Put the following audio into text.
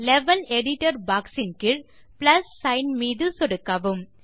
level editor box இன் கீழ் plus sign மீது சொடுக்கவும்